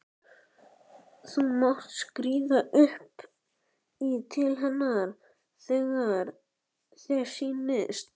Þú mátt skríða upp í til hennar þegar þér sýnist.